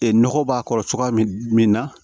nɔgɔ b'a kɔrɔ cogoya min na